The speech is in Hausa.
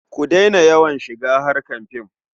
Ku daina yawan shiga harkar fim.